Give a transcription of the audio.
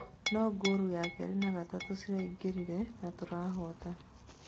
...no ngoorũ ya kerĩ na gatatũ ciraingĩrire na tũrahota"